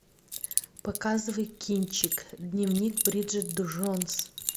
показывай кинчик дневник бриджит джонс